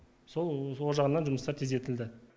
сол ол жағынан жұмыстар тездетілді